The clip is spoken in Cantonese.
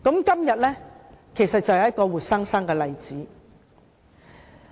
今天便是一個活生生的例子。